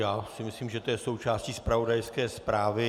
Já si myslím, že to je součástí zpravodajské zprávy.